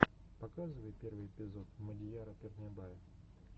показывай последний эпизод мадияра пернебая